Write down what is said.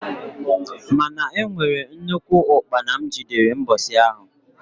Mana e nwere nnukwu ukpana m jidere mbosi ahụ.